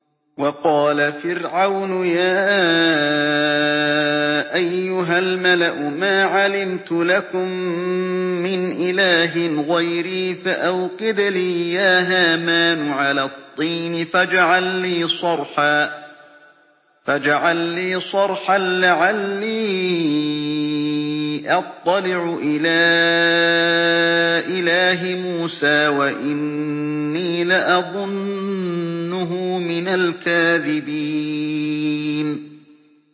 وَقَالَ فِرْعَوْنُ يَا أَيُّهَا الْمَلَأُ مَا عَلِمْتُ لَكُم مِّنْ إِلَٰهٍ غَيْرِي فَأَوْقِدْ لِي يَا هَامَانُ عَلَى الطِّينِ فَاجْعَل لِّي صَرْحًا لَّعَلِّي أَطَّلِعُ إِلَىٰ إِلَٰهِ مُوسَىٰ وَإِنِّي لَأَظُنُّهُ مِنَ الْكَاذِبِينَ